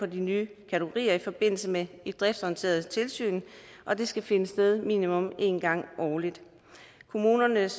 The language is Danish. de nye kategorier i forbindelse med et driftsorienteret tilsyn og det skal finde sted minimum en gang årligt kommunernes